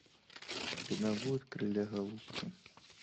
у тебя будет крылья голубки